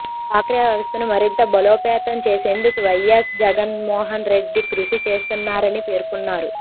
డ్వాక్రా వ్యవస్థను మరింత బలోపేతం చేసేందుకు వైయస్ జగన్మోహన్ రెడ్డి కృషి చేస్తున్నారని పేర్కొన్నారు